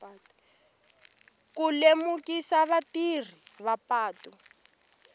ku lemukisa vatirhisi va patu